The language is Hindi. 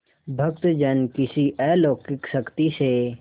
भक्तजन किसी अलौकिक शक्ति से